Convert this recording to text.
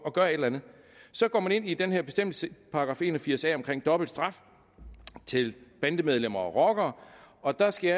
at gøre et eller andet så går man ind i den her bestemmelse § en og firs a om dobbelt straf til bandemedlemmer og rockere og der skal